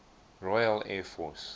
royal air force